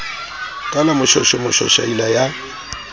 ka la moshweshwe moshwashwaila ya